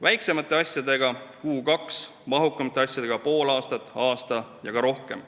Väiksemate asjadega tegeldakse kuu-kaks, mahukamate asjadega pool aastat, aasta ja ka rohkem.